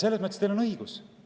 Selles mõttes on teil õigus.